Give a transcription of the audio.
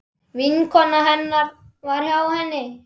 Vinkona hennar var hjá henni.